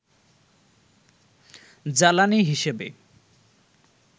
জ্বালানি হিসেবে